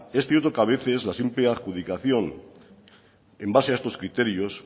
es cierto que a veces las simple adjudicación en base a estos criterio